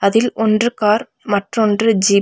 அதில் ஒன்று கார் மற்றொன்று ஜீப் .